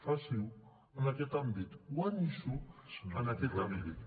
faci ho en aquest àmbit guanyi s’ho en aquest àmbit